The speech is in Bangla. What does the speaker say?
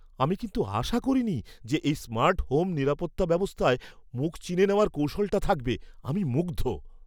আমি কিন্তু আশা করিনি যে এই স্মার্ট হোম নিরাপত্তা ব্যবস্থায় মুখ চিনে নেওয়ার কৌশলটা থাকবে। আমি মুগ্ধ!